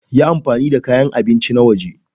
Yi amfani da kayan abinci na waje.